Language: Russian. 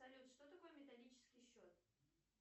салют что такое металлический счет